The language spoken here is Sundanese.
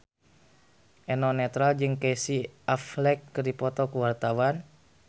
Eno Netral jeung Casey Affleck keur dipoto ku wartawan